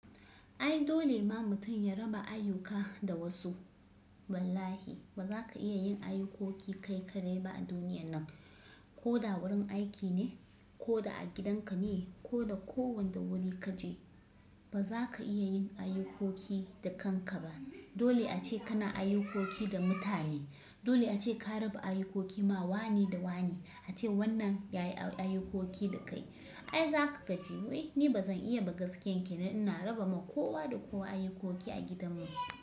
Ai dole ma mutum ya raba ayyuka da wasu. Wallahi ba za ka iya yin ayyukoki kai ka dai ba a duniya nan. Ko da wurin aiki ne, ko da a gidanka ne, ko da ko wanda wuri ka je, ba za ka iya yin ayyukoki da kanka ba. Dole a ce kana ayyukoki da mutane. Dole a ce ka raba ayyukoki, ma wane da wane. A ce wannan ya yi ayyukoki da kai. Ai za ka gaji. Wai ni ba zan iya ba gaskiyan kenan? Ina raba ma kowa da kowa ayyukoki a gidanmu.